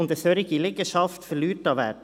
Eine solche Liegenschaft verliert an Wert.